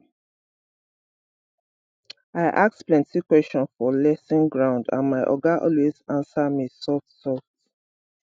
i ask plenty question for lesson ground and my oga always answer me softsoft